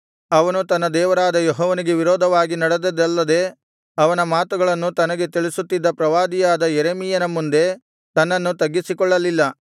ಅವನು ತನ್ನ ದೇವರಾದ ಯೆಹೋವನಿಗೆ ವಿರೋಧವಾಗಿ ನಡೆದದ್ದಲ್ಲದೆ ಅವನ ಮಾತುಗಳನ್ನು ತನಗೆ ತಿಳಿಸುತ್ತಿದ್ದ ಪ್ರವಾದಿಯಾದ ಯೆರೆಮೀಯನ ಮುಂದೆ ತನ್ನನ್ನು ತಗ್ಗಿಸಿಕೊಳ್ಳಲಿಲ್ಲ